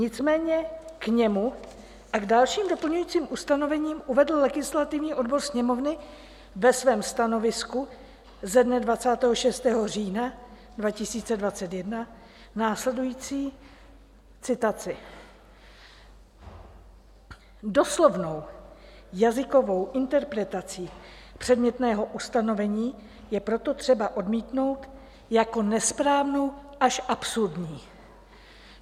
Nicméně k němu a k dalším doplňujícím ustanovením uvedl legislativní odbor Sněmovny ve svém stanovisku ze dne 26. října 2021 následující citaci: "Doslovnou jazykovou interpretaci předmětného ustanovení je proto třeba odmítnout jako nesprávnou až absurdní."